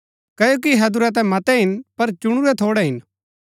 क्ओकि हैदुरै ता मतै हिन पर चुनुरै थोड़ै हिन